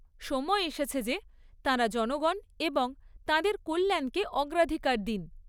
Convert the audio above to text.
সময় এসেছে যে তাঁরা জনগণ এবং তাঁদের কল্যাণকে অগ্রাধিকার দিন।